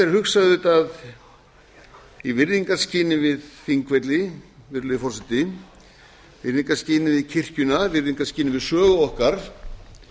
er auðvitað hugsað í virðingarskyni við þingvelli virðulegi forseti virðingarskyni við kirkjuna virðingarskyni við sögu okkar